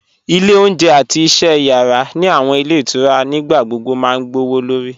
Ile ọ̀unjẹ̀ àti iṣẹ̀ yara ni awọn ilẹ̀ itura nígbàgbogbo ma gbọwọ́lọ̀rì